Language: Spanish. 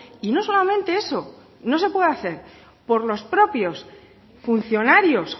y no solamente eso no se puede hacer por los propios funcionarios